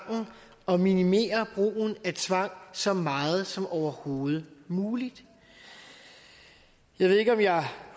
og minimere brugen af tvang så meget som overhovedet muligt jeg ved ikke om jeg